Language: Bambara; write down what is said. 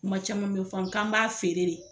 Kuma caman bɛ fɔ k'an b'a feere de.